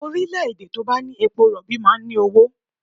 Orílẹ̀-èdè tó bá ní epo rọ̀bì máa ń ní owó